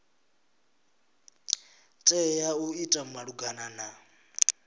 tea u ita malugana na